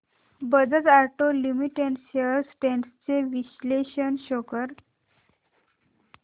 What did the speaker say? Bajaj auto limited shares trends चे विश्लेषण show कर